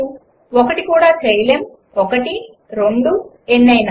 ● ఒకటి కూడా చేయలేము ● ఒకటి ● రెండు ● ఎన్నయినా ● 1